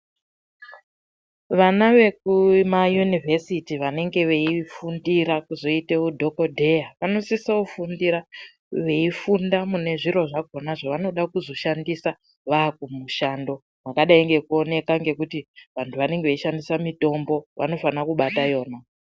Vana vekumayunivhesiti vanenga veifundira kuzoita hudhokodheya vanosisofundira veifundira mune zviro zvakona zvavanoda kuzoshandisa vakumushando zvakadai ngekuti vantu vanenge veishandisa mitombo vanofana kubata iyona.